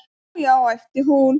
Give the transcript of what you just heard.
"""Ó, já, æpti hún."""